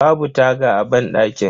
Babu taga a banɗakin.